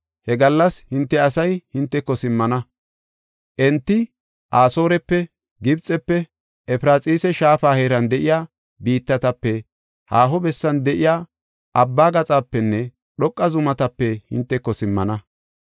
He gallas hinte asay hinteko simmana. Enti Asoorepe, Gibxefe, Efraxiisa shaafa heeran de7iya biittatape, haaho bessan de7iya abba gaxapenne dhoqa zumatape hinteko simmana.